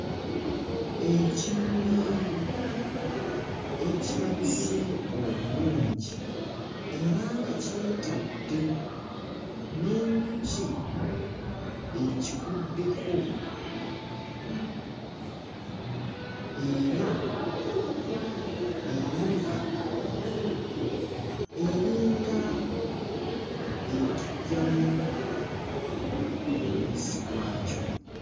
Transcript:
Ekimuli ekirabise obulungi era nga kyetadde, n'enjuki ekiguddeko era erabika eringa ekiggyamu omubisi gwakyo.